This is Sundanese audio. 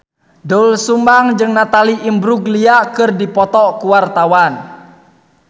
Doel Sumbang jeung Natalie Imbruglia keur dipoto ku wartawan